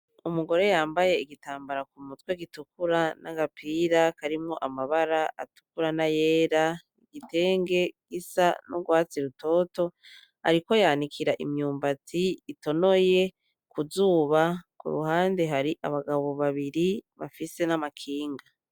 Umugore yambaye igitambara ku mutwe gitukura; n'agapira karimwo amabara atukura n'ayera; igitenge gisa n'ugwatsi rutoto. Ariko yanikira imyumbati itonoye ku zuba, ku ruhande hari abagabo babiri bafise n'amakinga.